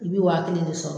I bɛ waa kelen de sɔrɔ